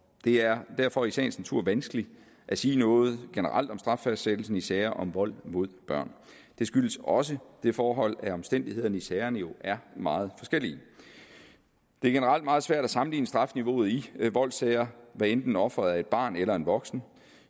er derfor i sagens natur vanskeligt at sige noget generelt om straffastsættelsen i sager om vold mod børn det skyldes også det forhold at omstændighederne i sagerne jo er meget forskellige det er generelt meget svært at sammenligne strafniveauet i voldssager hvad enten offeret er et barn eller en voksen